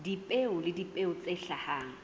dipeo le dipeo tse hlahang